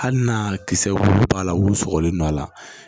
Hali n'a kisɛ wulu b'a la wulu sɔgɔlen no a la